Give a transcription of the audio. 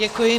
Děkuji.